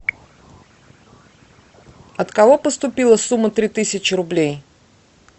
от кого поступила сумма три тысячи рублей